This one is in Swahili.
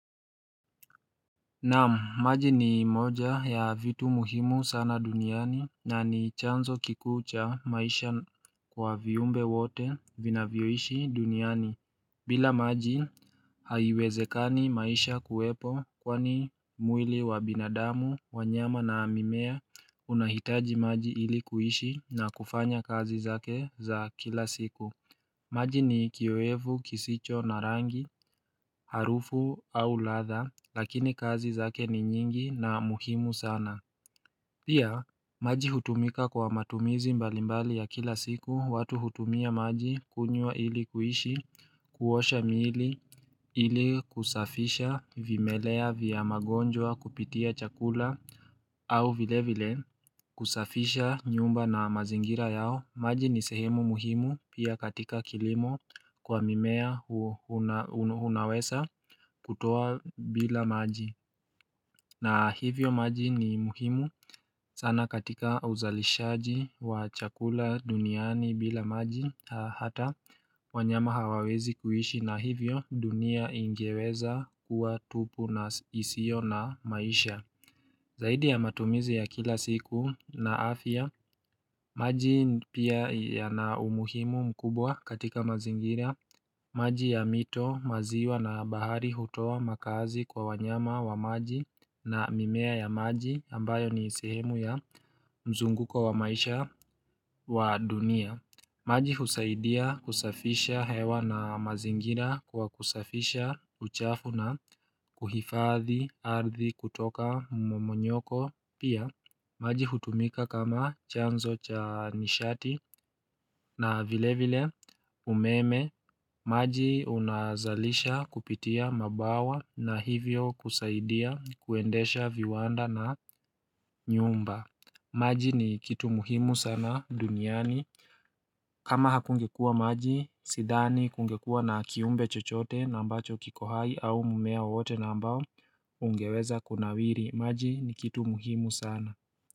Naam maji ni moja ya vitu muhimu sana duniani na ni chanzo kikuu cha maisha kwa viumbe wote vinavyoishi duniani bila maji haiwezekani maisha kuwepo kwani mwili wa binadamu wanyama na mimea unahitaji maji ili kuishi na kufanya kazi zake za kila siku maji ni kiyoyevu kisicho na rangi harufu au ladha lakini kazi zake ni nyingi na muhimu sana pia maji hutumika kwa matumizi mbalimbali ya kila siku watu hutumia maji kunywaa ili kuishi kuosha miili ili kusafisha vimelea vya magonjwa kupitia chakula au vile vile kusafisha nyumba na mazingira yao maji ni sehemu muhimu pia katika kilimo kwa mimea unaweza kutoa bila maji na hivyo maji ni muhimu sana katika uzalishaji wa chakula duniani bila maji Hata wanyama hawawezi kuishi na hivyo dunia ingeweza kuwa tupu na isio na maisha zaidi ya matumizi ya kila siku na afia maji pia ya na umuhimu mkubwa katika mazingira maji ya mito maziwa na bahari hutoa makazi kwa wanyama wa maji na mimea ya maji ambayo ni sehemu ya mzunguko wa maisha wa dunia maji husaidia kusafisha hewa na mazingira kwa kusafisha uchafu na kuhifadhi ardi kutoka momonyoko pia maji hutumika kama chanzo cha nishati na vile vile umeme maji unazalisha kupitia mabawa na hivyo kusaidia kuendesha viwanda na nyumba maji ni kitu muhimu sana duniani kama hakungekua maji sidhani kungekua na kiumbe chochote na ambacho kiko hai au mmea wote na mbao ungeweza kunawiri maji ni kitu muhimu sana.